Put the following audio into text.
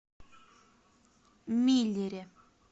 миллере